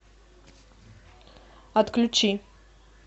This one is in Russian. отключи